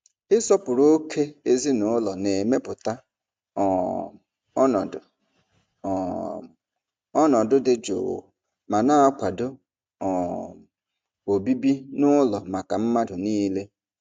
Ịsọpụrụ ókè ezinụlọ na-emepụta um ọnọdụ um ọnọdụ dị jụụ ma na-akwado um obibi n'ụlọ maka mmadụ niile.